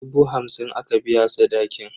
Dubu hamsin aka biya sadakin.